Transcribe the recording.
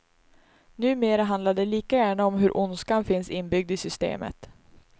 Numera handlar de lika gärna om hur ondskan finns inbyggd i systemet.